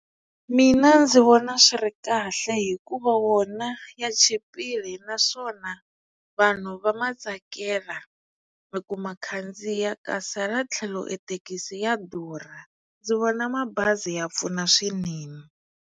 Mina ndzi vona swi ri kahle hikuva wona ya chipile naswona vanhu va ma tsakela i ku ma khandziya kasi hala tlhelo e thekisi ya durha ndzi vona mabazi ya pfuna swinene.